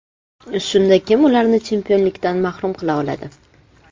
Shunda kim ularni chempionlikdan mahrum qila oladi?